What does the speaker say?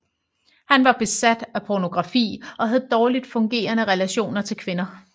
Han var besat af pornografi og havde dårligt fungerende relationer til kvinder